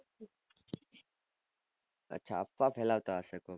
અચ્છા પેલા કાસ હતું